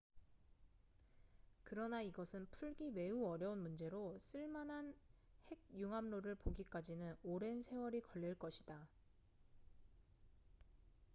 그러나 이것은 풀기 매우 어려운 문제로 쓸만한 핵 융합로를 보기까지는 오랜 세월이 걸릴 것이다